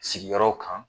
Sigiyɔrɔ kan